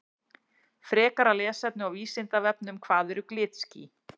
Frekara lesefni á Vísindavefnum Hvað eru glitský?